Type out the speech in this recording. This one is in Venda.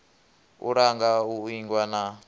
u langa u ingwa na